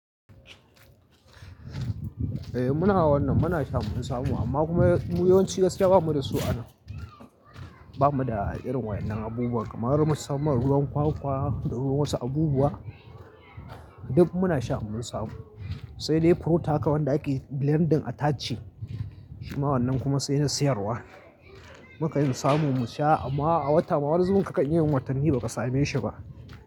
Eh muna wannan, muna sha mun samu amma kuma yawanci gaskiya bamu da su anan. Bamu da irin waƴannan abubuwan kamar musamman ruwan kwakwa da ruwan wasu abubuwa duk muna sha in mun samu. Sai dai fruit haka wanda ake blending a tace. Shi ma wannan kuma sai na siyarwa. Mukan samu mu sha amma a wata ma wani zubin ka kan iyayin watanni baka same shi ba.